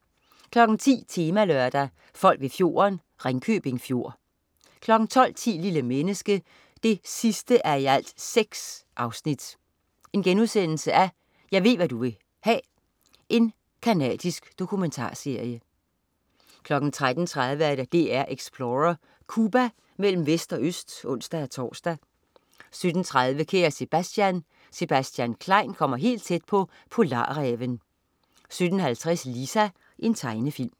10.00 Temalørdag: Folk ved fjorden. Ringkøbing Fjord 12.10 Lille menneske 6:6. Jeg ved, hva' du vil.* Canadisk dokumentarserie 13.30 DR-Explorer: Cuba. Mellem vest og øst (ons-tors) 17.30 Kære Sebastian. Sebastian Klein kommer helt tæt på polarræven 17.50 Lisa. Tegnefilm